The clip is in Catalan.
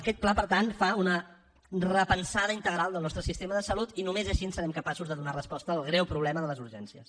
aquest pla per tant fa una repensada integral del nostre sistema de salut i només així serem capaços de donar resposta al greu problema de les urgències